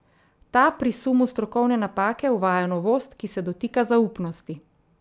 Ta pri sumu strokovne napake uvaja novost, ki se dotika zaupnosti.